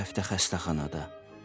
Bu həftə xəstəxanada.